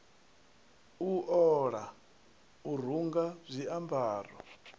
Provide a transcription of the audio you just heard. u ola u runga zwiambaro